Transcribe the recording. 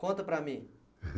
Conta para mim.